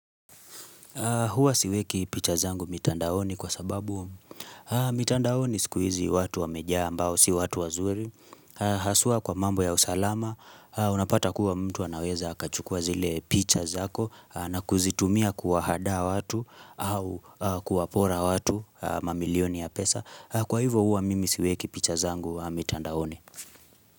Huwa siweki pichazangu mitandaoni kwa sababu umu. Mitandaoni sikuizi watu wameja ambao, si watu wa zuri. Haswa kwa mambo ya usalama. Unapata kuwa mtu anaweza akachukua zile pichazako na kuzitumia kuwahadaa watu au kuwapora watu mamilioni ya pesa. Kwa hivyo huwa mimi siweki pichazangu mitandaoni.